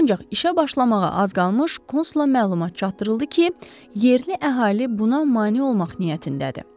Ancaq işə başlamağa az qalmış konsula məlumat çatdırıldı ki, yerli əhali buna mane olmaq niyyətindədir.